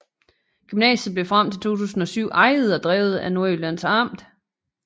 Gymnasiet blev frem til 2007 ejet og drevet af Nordjyllands Amt